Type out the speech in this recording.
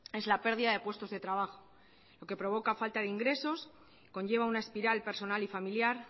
es la pérdida de puestos de trabajo lo que provoca falta de ingresos conlleva una espiral personal y familiar